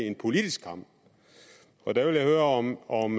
er politisk kamp og der vil jeg høre om om